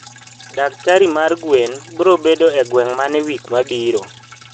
daktari mar gwen brobedo e gweng mane wik mabiro?